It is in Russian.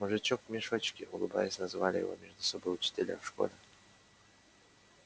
мужичок в мешочке улыбаясь называли его между собой учителя в школе